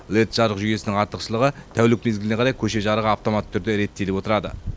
лед жарық жүйесінің артықшылығы тәулік мезгіліне қарай көше жарығы автоматты турде реттеліп отырады